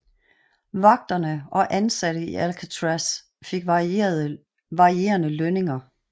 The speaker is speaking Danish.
Vagterne og ansatte i Alcatraz fik varierende lønninger